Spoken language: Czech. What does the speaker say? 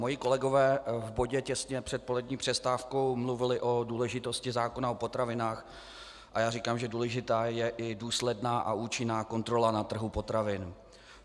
Moji kolegové v bodě těsně před polední přestávkou mluvili o důležitosti zákona o potravinách a já říkám, že důležitá je i důsledná a účinná kontrola na trhu potravin.